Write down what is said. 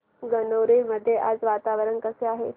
गणोरे मध्ये आज वातावरण कसे आहे